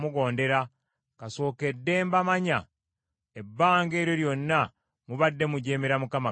Kasookedde mbamanya, ebbanga eryo lyonna mubadde mujeemera Mukama Katonda.